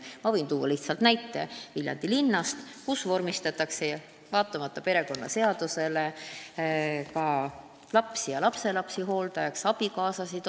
Ma võin tuua lihtsalt näite Viljandi linnast, kus vormistatakse vaatamata perekonnaseaduses sätestatule ka lapsi ja lapselapsi hooldajaks, samuti abikaasasid.